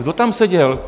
Kdo tam seděl?